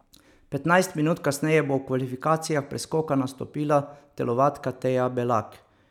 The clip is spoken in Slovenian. Petnajst minut kasneje bo v kvalifikacijah preskoka nastopila telovadka Teja Belak.